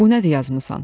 Bu nədir yazmısan?